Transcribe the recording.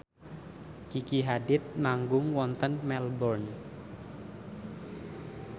Gigi Hadid manggung wonten Melbourne